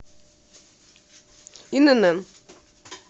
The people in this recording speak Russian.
инн